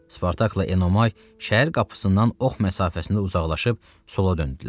Spartakla Enomay şəhər qapısından ox məsafəsində uzaqlaşıb sola döndülər.